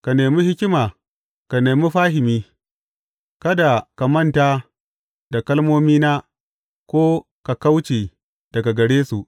Ka nemi hikima, ka nemi fahimi; kada ka manta da kalmomina ko ka kauce daga gare su.